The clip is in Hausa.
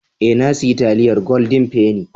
Eh, na siya taliyar "golden penny".